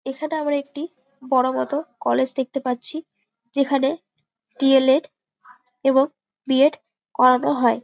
এইখানে আমরা একটি বড় মতো কলেজ দেখতে পাচ্ছি। যেখানে ড. এল. এড এবং বি .এড করানো হয়।